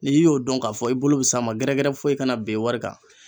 N'i y'o dɔn k'a fɔ i bolo be s'a ma gɛrɛgɛrɛ foyi kana ben wari kan